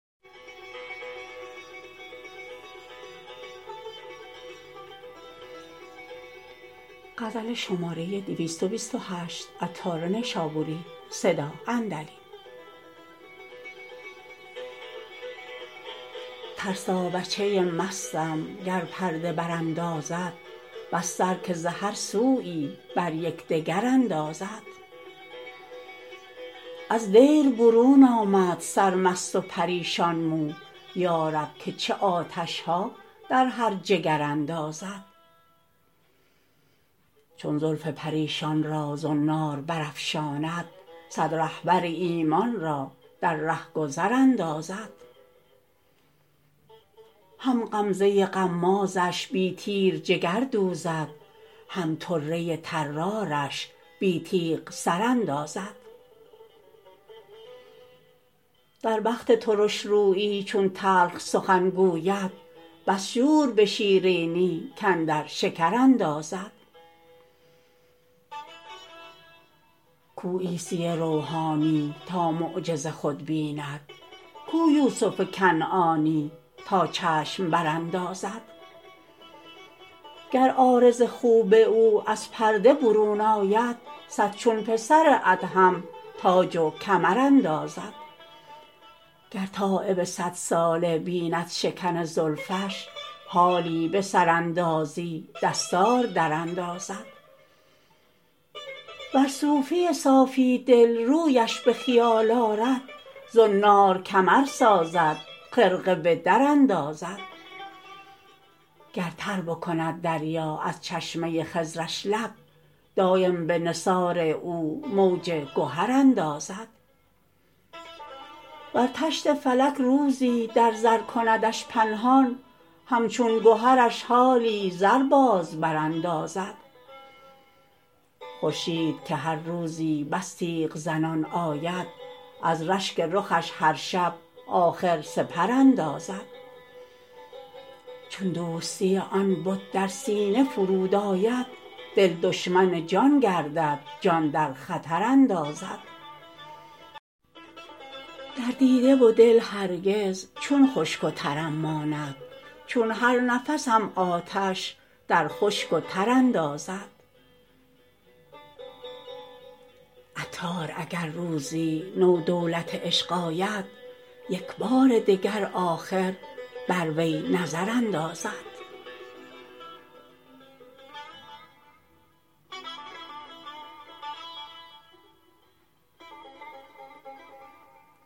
ترسا بچه مستم گر پرده براندازد بس سر که ز هر سویی بر یکدگر اندازد از دیر برون آمد سرمست و پریشان مو یارب که چه آتش ها در هر جگر اندازد چون زلف پریشان را زنار برافشاند صد رهبر ایمان را در رهگذر اندازد هم غمزه غمازش بی تیر جگر دوزد هم طره طرارش بی تیغ سر اندازد در وقت ترش رویی چون تلخ سخن گوید بس شور به شیرینی کاندر شکر اندازد کو عیسی روحانی تا معجز خود بیند کو یوسف کنعانی تا چشم براندازد گر عارض خوب او از پرده برون آید صد چون پسر ادهم تاج و کمر اندازد گر تایب صدساله بیند شکن زلفش حالی به سراندازی دستار دراندازد ور صوفی صافی دل رویش به خیال آرد زنار کمر سازد خرقه به در اندازد گر تر بکند دریا از چشمه خضرش لب دایم به نثار او موج گهر اندازد ور طشت فلک روزی در زر کندش پنهان همچون گهرش حالی زر باز براندازد خورشید که هر روزی بس تیغ زنان آید از رشک رخش هر شب آخر سپر اندازد چون دوستی آن بت در سینه فرود آید دل دشمن جان گردد جان در خطر اندازد در دیده و دل هرگز چه خشک و ترم ماند چون هر نفسم آتش در خشک و تر اندازد عطار اگر روزی نو دولت عشق آید یکبار دگر آخر بر وی نظر اندازد